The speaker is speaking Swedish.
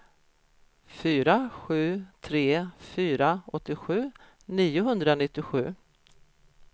fyra sju tre fyra åttiosju niohundranittiosju